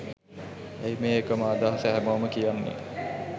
ඇයි මේ එකම අදහස හැමෝම කියන්නෙ?